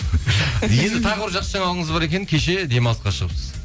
енді тағы бір жақсы жаңалығыңыз бар екен кеше демалысқа шығыпсыз